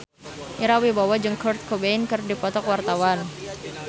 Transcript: Ira Wibowo jeung Kurt Cobain keur dipoto ku wartawan